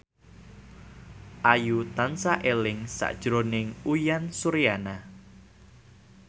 Ayu tansah eling sakjroning Uyan Suryana